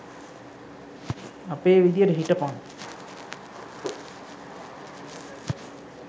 අපේ විදියට හිටපං